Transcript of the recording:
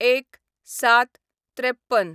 ०१/०७/५३